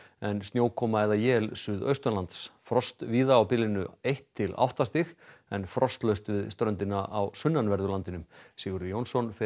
en snjókoma eða él suðaustanlands frost víða á bilinu eitt til átta stig en frostlaust við ströndina á sunnanverðu landinu Sigurður Jónsson